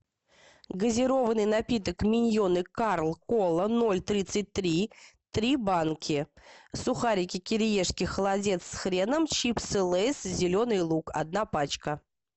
газированный напиток миньоны карл кола ноль тридцать три три банки сухарики кириешки холодец с хреном чипсы лейс зеленый лук одна пачка